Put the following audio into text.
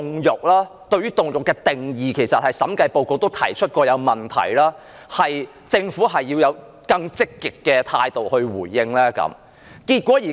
而對於凍肉的定義，其實審計署署長報告也曾提出問題，政府需要以更積極的態度來回應。